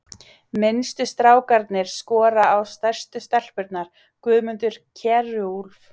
Minnstu strákarnir skora á stærstu stelpurnar: Guðmundur Kjerúlf